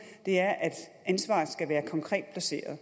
er at ansvaret skal være konkret placeret